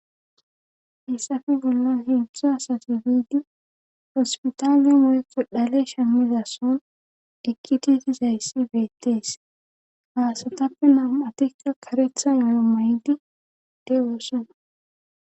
hissafe bollan hedzu asati biidi hospitaal mo7eko dhale shemnizason ekkititi zayssi beettees haasatappe nam7atikka karethan oyo may7di dewoossona